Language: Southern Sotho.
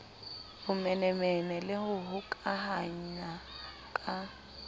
bomenemene le ho hokahana ka